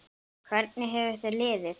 Hvernig hefur þér liðið?